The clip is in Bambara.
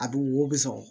A bi wo bɔ sɔrɔ